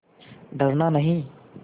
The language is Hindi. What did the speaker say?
डरना नहीं